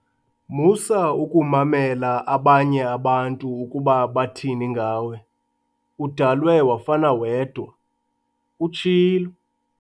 Musa ukumamela abanye abantu ukuba bathini ngawe, udalwe wafana wedwa," utshilo.